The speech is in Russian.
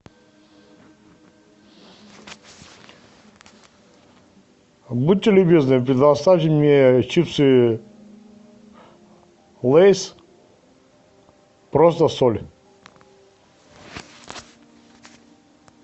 будьте любезны предоставьте мне чипсы лейс просто соль